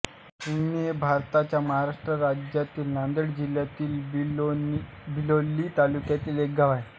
हिंगणी हे भारताच्या महाराष्ट्र राज्यातील नांदेड जिल्ह्यातील बिलोली तालुक्यातील एक गाव आहे